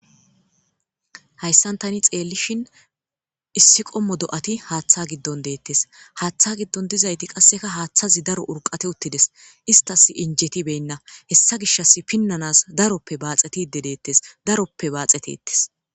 hayssan tani xeellishin issi qommo do7ati haaththa giddon deettes haaththa giddon dizayti qasseka haaththazi daro urqate uttides istas injetibenna hessa gishas pinnanas daroppe baaxetide deettes daroppe baaxetittes